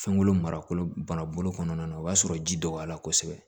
Fɛnko marabolo kɔnɔna na o y'a sɔrɔ ji dɔgɔyara kosɛbɛ